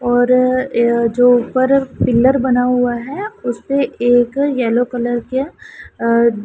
और यह जो ऊपर पिलर बना हुआ है उस पर एक येलो कलर के अह--